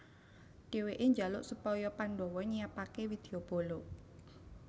Dheweke njaluk supaya Pandhawa nyiapake widyabala